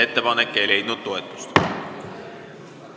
Ettepanek ei leidnud toetust.